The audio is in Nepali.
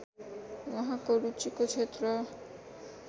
उहाँको रुचिको क्षेत्र